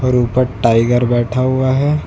ऊपर टाइगर बैठा हुआ है।